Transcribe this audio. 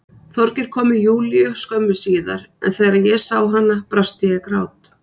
Þorgeir kom með Júlíu skömmu síðar en þegar ég sá hana brast ég í grát.